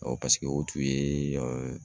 paseke o tun yeeee